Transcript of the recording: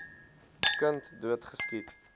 kind dood geskiet